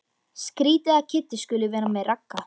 Skrýtið að Kiddi skuli vera með Ragga.